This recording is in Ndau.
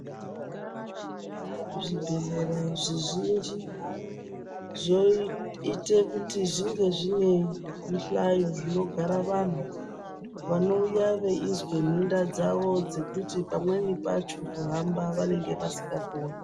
Zvi bhedhlera zvizhinji zvoite kuti zvinge zvine mihlayo zvinogara vanhu vanouya veinge veizwa nhenda dzavo zvekuti pamweni pacho kuhamba vanenge vasinga koni.